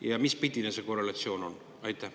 Ja mispidine see korrelatsioon on?